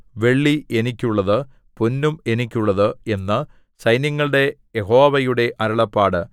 വെള്ളി എനിക്കുള്ളത് പൊന്നും എനിക്കുള്ളത് എന്ന് സൈന്യങ്ങളുടെ യഹോവയുടെ അരുളപ്പാട്